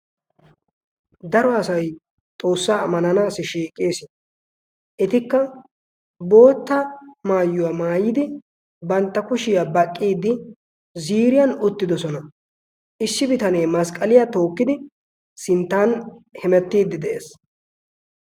Daro asayi xoossaa ammananaassi shiiqees. Etikka bootta maayuwa maayidi bantta kushiya baqqiiddi ziiriyan uttidosona. Issi bitanee masqqaliya tookkidi sinttan hemettiiddi de"es.